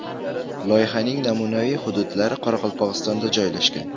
Loyihaning namunaviy hududlari Qoraqalpog‘istonda joylashgan.